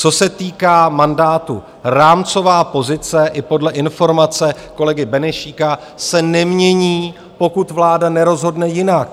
Co se týká mandátu, rámcová pozice i podle informace kolegy Benešíka se nemění, pokud vláda nerozhodne jinak.